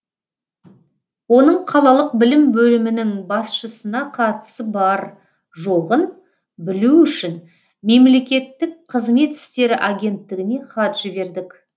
оның қалалық білім бөлімінің басшысына қатысы бар жоғын білу үшін мемлекеттік қызмет істері агенттігіне хат жібердік